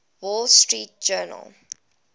wall street journal